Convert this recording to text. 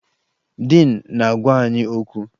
Diin na-agwa anyị okwu